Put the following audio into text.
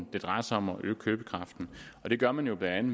det drejer sig om at øge købekraften det gør man jo blandt